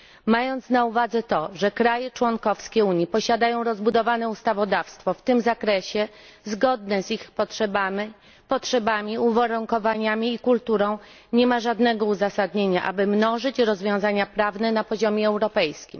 Mając na uwadze to, że państwa członkowskie Unii posiadają rozbudowane ustawodawstwo w tym zakresie zgodne z ich potrzebami, uwarunkowaniami i kulturą nie ma żadnego uzasadnienia, aby mnożyć rozwiązania prawne na poziomie europejskim.